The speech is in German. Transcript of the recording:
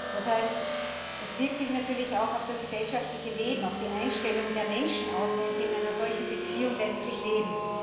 Das heißt, es wirkt sich natürlich auch auf das gesellschaftliche Leben, auf die Einstellung der Menschen aus, wenn sie in einer solchen Beziehung leben.